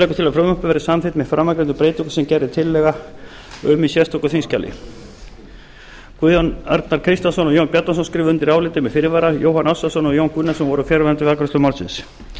að frumvarpið verði samþykkt með framangreindum breytingum sem gerð er tillaga um í sérstöku þingskjali guðjón a kristjánsson og jón bjarnason skrifa undir álitið með fyrirvara jóhann ársælsson og jón gunnarsson voru fjarverandi við afgreiðslu málsins